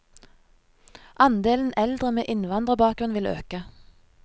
Andelen eldre med innvandrerbakgrunn vil øke.